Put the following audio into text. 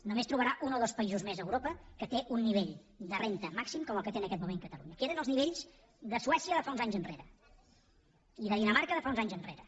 només trobarà un o dos països més a europa que tenen un nivell de renda màxim com el que té en aquest moment catalunya que eren els nivells de suècia de fa uns anys enrere i de dinamarca de fa uns anys enrere